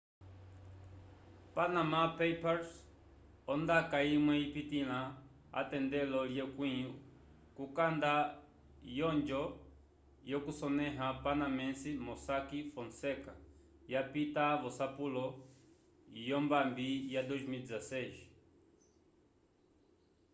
panama papers ondaka imwe ipitila atendelo lye kwi kukanda yonjo yo kusoneha panamense mossack fonseka ya pitta vosapulo yo mbami ya 2016